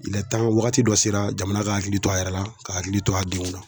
wagati dɔ sera jamana k'a hakili to a yɛrɛ la k'a hakili to a denw na.